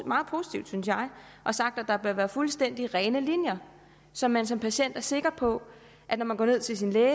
meget positiv synes jeg og sagt at der bør være fuldstændig rene linjer så man som patient er sikker på at når man går ned til sin læge